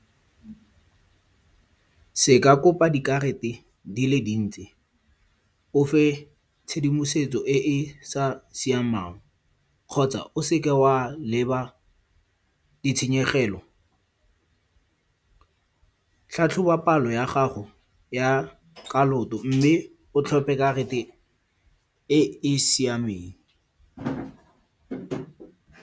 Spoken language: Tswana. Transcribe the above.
Se ka kopa dikarata di le dintsi. O fe tshedimosetso e e sa siamang, kgotsa o seke wa leba ditshenyegelo. Tlhatlhoba palo ya gago ya kaloto mme o tlhophe karata e e siameng.